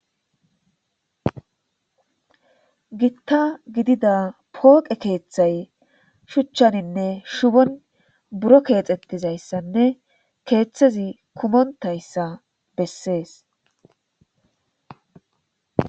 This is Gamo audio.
Gita gidida pooqe keethay shuchaninne shubon buro keexetizaysanne kethazi kumontaysa besses.